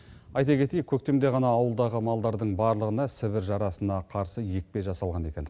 айта кетейік көктемде ғана ауылдағы малдардың барлығына сібір жарасына қарсы екпе жасалған екен